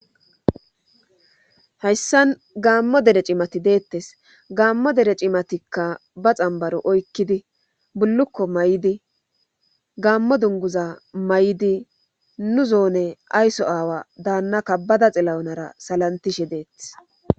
hayssan gaammo dere cimati deettes gaammo dere cimatikka ba xambaro oykkidi bullukko may7idi gaammo dunguza may7idi nu zoone aysso aawa daannakkabbada xilawunara salantishe deetes